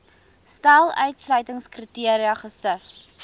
stel uitsluitingskriteria gesif